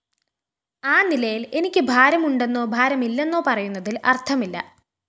ആനിലയില്‍ എനിക്കുഭാരമുണ്ടെന്നോ ഭാരമില്ലെന്നോ പറയുന്നതില്‍ അര്‍ത്ഥമില്ല